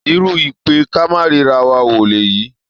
Irú ìpè-ká-máa-ríra-wa wo lèyí!